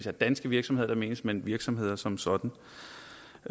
er danske virksomheder der menes men virksomheder som sådan